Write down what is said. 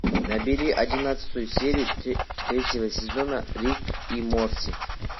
набери одиннадцатую серию третьего сезона рик и морти